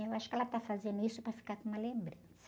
Eu acho que ela tá fazendo isso para ficar com uma lembrança.